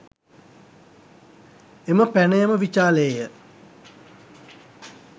එම පැනයම විචාළේ ය